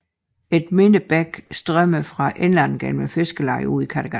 En mindre bæk strømmede fra indlandet gennem fiskerlejet ud i Kattegat